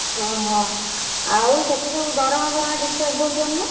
ଓହୋ! ଆଉ ସେଠି ସବୁ ଦରମା ଫରମା ଠିକ ଠାକ ଦଉଛନ୍ତି ନା?